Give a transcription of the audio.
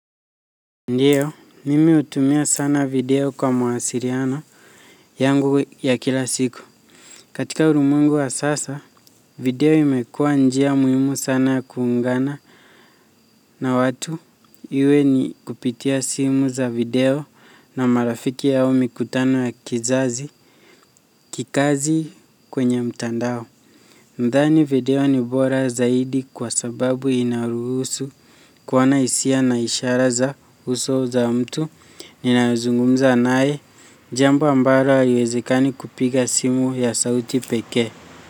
Ndiyo, mimi hutumia sana video kwa muwasiliano yangu ya kila siku. Katika ulimwengu wa sasa, video imekuwa njia muhimu sana ya kuungana na watu iwe ni kupitia simu za video na marafiki yao mikutano ya kizazi kikazi kwenye mtandao. Nadhani video ni bora zaidi kwa sababu inaruhusu kuwa na hisia na ishara za uso za mtu ninazungumza naye jambo ambalo haliwezekani kupiga simu ya sauti peke.